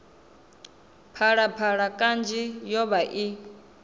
phalaphala kanzhi yo vha i